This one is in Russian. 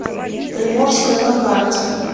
приморская на карте